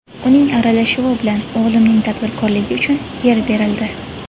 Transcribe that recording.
Uning aralashuvi bilan o‘g‘limning tadbirkorligi uchun yer berildi.